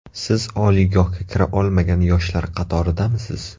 Siz oliygohga kira olmagan yoshlar qatoridamisiz?